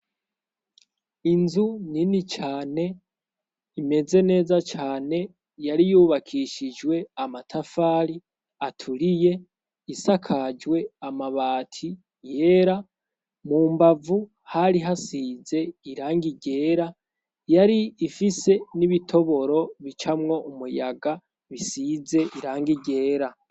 Inzu nini cane imeze neza cane yari yubakishijwe amatafali aturiye isakajwe amabati yera mu mbavu hari hasize iranga igera yari ifise n'ibitoboro bie camwo umuyaga bisize irange irera.